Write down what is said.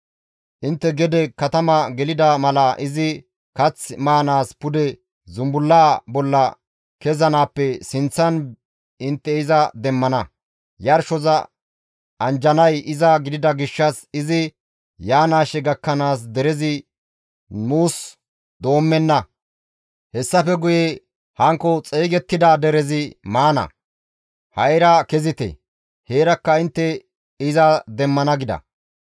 Intte gede katama gelida mala izi kath maanaas pude zumbullaa bolla kezanaappe sinththan intte iza demmana; yarshoza anjjanay iza gidida gishshas izi yaanaashe gakkanaas derezi muus doommenna; hessafe guye hankko xeygettida derezi maana; ha7ira kezite; heerakka intte iza demmana» gida.